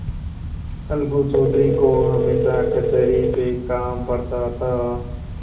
अलगू चौधरी को हमेशा कचहरी से काम पड़ता था